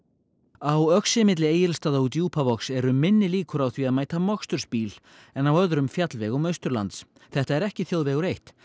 á Öxi milli Egilsstaða og Djúpavogs eru minni líkur á því að mæta mokstursbíl en á öðrum fjallvegum Austurlands þetta er ekki þjóðvegur eitt